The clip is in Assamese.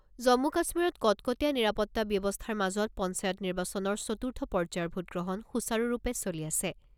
জম্মু কাশ্মীৰত কটকটীয়া নিৰাপত্তা ব্যৱস্থাৰ মাজত পঞ্চায়ত নিৰ্বাচনৰ চতুৰ্থ পৰ্যায়ৰ ভোট গ্ৰহণ সুচাৰুৰূপে চলি আছে।